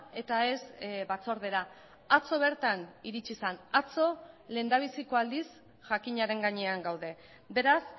eta ez batzordera atzo bertan iritsi zen atzo lehendabiziko aldiz jakinaren gainean gaude beraz